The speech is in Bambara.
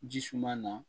Ji suma na